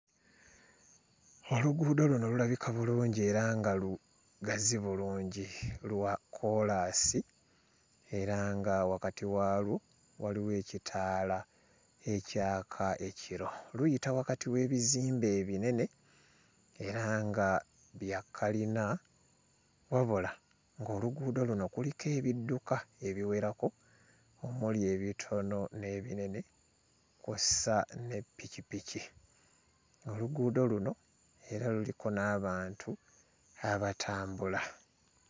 Oluguudo luno lulabika bulungi era nga lugazi bulungi. Lwa kkoolaasi era nga wakati waalwo waliwo ekitaala ekyaka ekiro. Luyita wakati w'ebizimbe ebinene era nga bya kalina wabula ng'oluguudo luno kuliko ebidduka ebiwerako omuli ebitono n'ebinene kw'ossa ne ppikipiki. Oluguudo luno era luliko n'abantu abatambula.